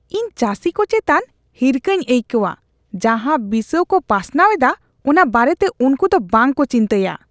ᱤᱧ ᱪᱟᱹᱥᱤ ᱠᱚ ᱪᱮᱛᱟᱱ ᱦᱤᱨᱠᱷᱟᱹᱧ ᱟᱹᱭᱠᱟᱹᱣᱟ ᱡᱟᱦᱟ ᱵᱤᱥᱟᱹᱣ ᱠᱚ ᱯᱟᱥᱱᱟᱣ ᱮᱫᱟ ᱚᱱᱟ ᱵᱟᱨᱮᱛᱮ ᱩᱱᱠᱩᱫᱚ ᱵᱟᱝᱠᱚ ᱪᱤᱱᱛᱟᱹᱭᱟ ᱾